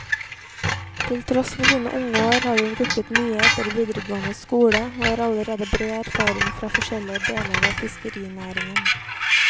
Til tross for sine unge år har hun rukket mye etter videregående skole, og har allerede bred erfaring fra forskjellige deler av fiskerinæringen.